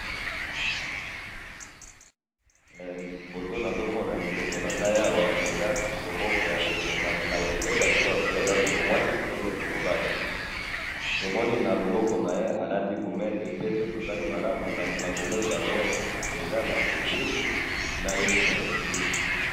he photo nazo mona liboso na ngayi awa eza loboko ya ndeko nakoki koyeba te soki azali ndeko ya mwasi to ya mobali ,tomoni na liboko naye alati gourmette pe soki totali malamou na gourmettte naye tomoni ekoulousou na yesu na ekoulousou.